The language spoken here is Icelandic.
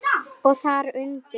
Og þar undir